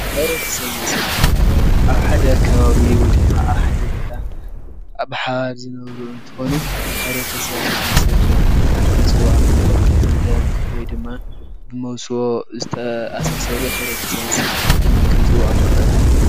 ሕብረተሰብን ስድራን ማለት ኣብ ሓደ ከባቢ ወይ ድማ ኣብ ሓደ ቦታ ብሓባር ዝነብሩ እንትኮኑ ሕብረተሰብን ስድራን ኢልና ክንፅዎዖም እንክእል ብደም ወይ ድማ ብመውብስዎ ዝተኣሳሰሩ ሕበረተሰብን ስድራን ኢልና ክንፅዎዖም ንክእል፡፡